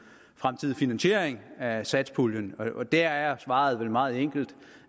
fremtidige finansiering af satspuljen og der er svaret vel meget enkelt